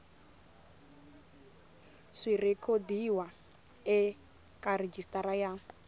swi rhekhodiwa eka rejistara ya